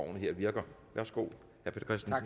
jeg høre